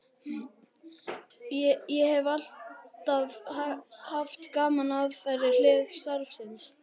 Ég hef alltaf haft gaman af þeirri hlið starfsins.